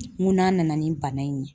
N ko n'a nana ni bana in ye.